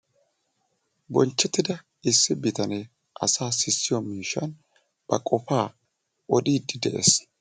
Bonchchettida issi bitanee asaa sissiyoo miishshan ba qofaa odiidi de'ees